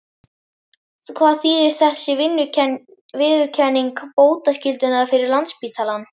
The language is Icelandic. Hvað þýðir þessi viðurkenning bótaskyldunnar fyrir Landspítalann?